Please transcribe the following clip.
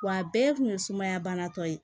Wa a bɛɛ kun ye sumaya bana dɔ ye